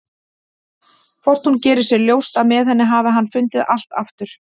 Hvort hún geri sér ljóst að með henni hafi hann fundið allt aftur?